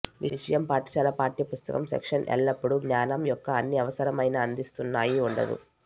విషయం పాఠశాల పాఠ్య పుస్తకం సెక్షన్ ఎల్లప్పుడూ జ్ఞానం యొక్క అన్ని అవసరమైన అందిస్తున్నాయి ఉండదు